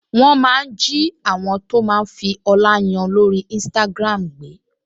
Wọ́n máa ń jí àwọn tó máa ń fi ọlá yan lórí Instagram gbé